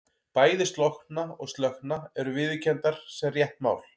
Bæði slokkna og slökkna eru viðurkenndar sem rétt mál.